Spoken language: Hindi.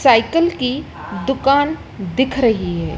साइकिल की दुकान दिख रही है।